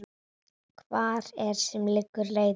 Hvar sem liggur leiðin þín.